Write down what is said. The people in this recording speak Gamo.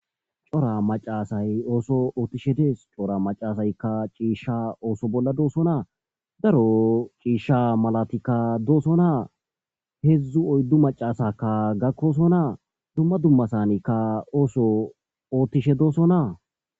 corra macca asay osa othishe dees corra macca asaykka oso bolla dossona darro cisha malatika dossona heezu oyddu maccasakka gakkkossona dumma dummassanikka oso otbishe dossona.